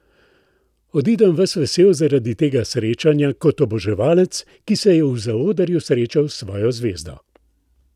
Odidem, ves vesel zaradi tega srečanja, kot oboževalec, ki se je v zaodrju srečal s svojo zvezdo.